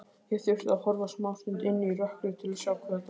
Ég þurfti að horfa smástund inn í rökkrið til að sjá hvað þetta var.